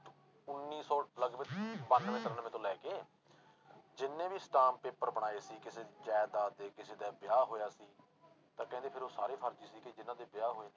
ਉੱਨੀ ਸੌ ਲਗਪਗ ਬਾਨਵੇਂ ਤਰਾਨਵੇਂ ਤੋਂ ਲੈ ਕੇ ਜਿੰਨੇ ਵੀ ਅਸਟਾਮ ਪੇਪਰ ਬਣਾਏ ਸੀ ਕਿਸੇ ਜ਼ਾਇਦਾਦ ਦੇ ਕਿਸੇ ਦਾ ਵਿਆਹ ਹੋਇਆ ਸੀ, ਤਾਂ ਕਹਿੰਦੇ ਫਿਰ ਉਹ ਸਾਰੇ ਫ਼ਰਜ਼ੀ ਸੀਗੇ ਜਿਹਨਾਂ ਦੇ ਵਿਆਹ ਹੋਏ।